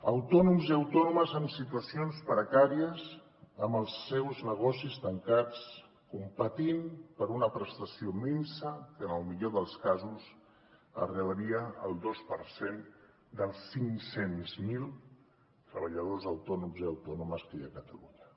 autònoms i autònomes en situacions precàries amb els seus negocis tancats competint per una prestació minsa que en el millor dels casos arribaria al dos per cent dels cinc cents miler treballadors autònoms i autònomes que hi ha a catalunya